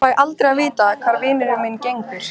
Fæ aldrei að vita hvar vinur minn gengur.